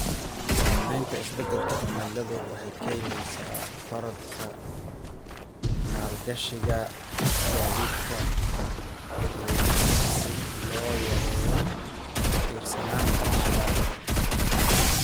Saamaynta isbeddelka cimiladu waxay keenaysaa korodhka maalgashiga gaadiidka dadweynaha si loo yareeyo ku tiirsanaanta shidaalka.